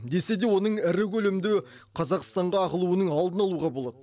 десе де оның ірі көлемде қазақстанға ағылуының алдын алуға болады